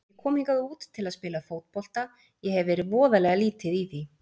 Ég kom hingað út til að spila fótbolta, ég hef verið voðalega lítið í því.